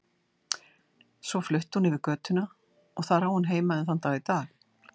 Svo flutti hún yfir götuna og þar á hún heima enn þann dag í dag.